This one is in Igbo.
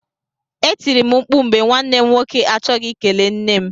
E tiri m mkpụ mgbe nwanne m nwoke achọghị ikele nne m.